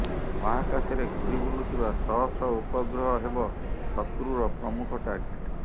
ମହାକାଶରେ ଘୁରି ବୁଲୁଥିବା ଶହ ଶହ ଉପଗ୍ରହହେବ ଶତ୍ରୁର ପ୍ରମୁଖ ଟାର୍ଗେଟ